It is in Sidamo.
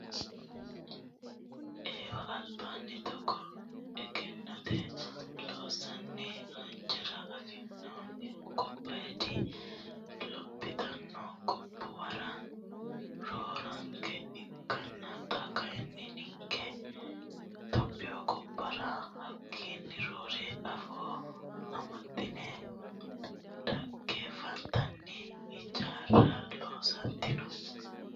Eewa albaani togo egennote loonsonni hijaara anfanihu gobbadi lophitino gobbuwarati roorenka ikkonna xa kayinni ninke tophiyu gobbara hakkinni roore afoo amaxine dhaggefattanni hijaara loosatinno.